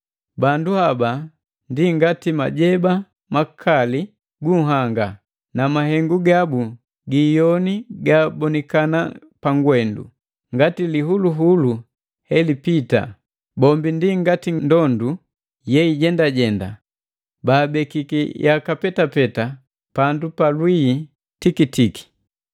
bandu haba ndi ngati majeba makali gunhanga, na mahengu gabu gi iyoni gabonikana pangwendu ngati lihuluhulu helipita. Bombi ndi ngati ndondu yeijendajenda baabekiki yaka petapeta pandu pa lwii tikitiki.